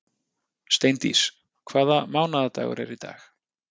Steindís, hvaða mánaðardagur er í dag?